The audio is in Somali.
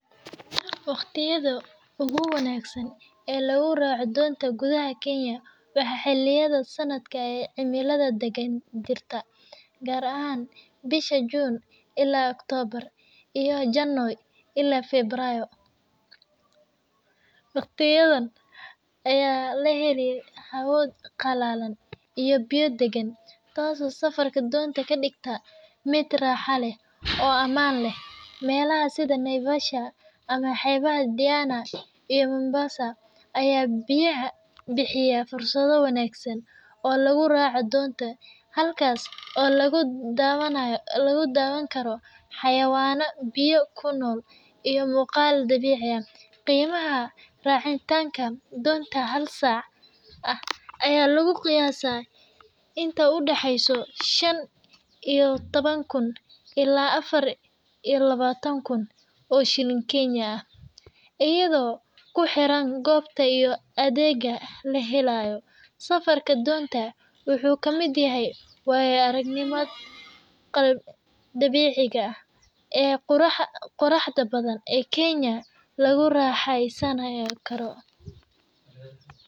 Waqdiyada ugu wanagsan ee lagu racoh donta kuthaha Kenya waxa xeliyada sanatka ee celimadaha dagan jirta kaar aahn bisha Junel June ila October iyo janoy ila febrayo ,waqdiyadan Aya laheli hawood qalalan iyo biya dagan taaso dunta kadegta mid raxaha leeh oo aman leeh melsaha setha naivasha amah xebahabdeyana iyo Mombasa Aya biyahay bixiyah fursada wangsan oo lgu racoh dontas halakas lagu dawankaroh a xawayano beeyoh kunol iyo muqal dabeeci aah qiimaha racitanga dontas hala sac Aya lagu qiyasa intavu daxeysaih Shan iyo tawankun ila afar iyo lawataan Kun oo sheelin keenya aah eyado kuxeeran koobta iyo adega lahelayo safarka dontas waxu kamit yahay waya aragnima dabici aah ee Quraxda bathan ee Kenya laguraxeysanayo karoh.